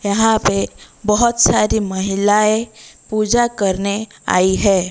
यहां पे बहोत सारी महिलाएं पूजा करने आई है।